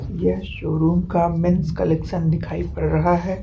यह शोरूम काम men's collections दिखाई पड़ रहा है।